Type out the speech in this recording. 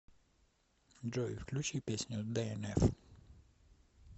джой включи песню дээнэф